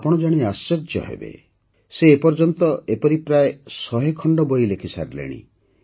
ଆପଣ ଜାଣି ଆଶ୍ଚର୍ଯ୍ୟ ହେବେ ଯେ ସେ ଏ ପର୍ଯ୍ୟନ୍ତ ଏପରି ପ୍ରାୟ ୧୦୦ ଖଣ୍ଡ ବହି ଲେଖିସାରିଲେଣି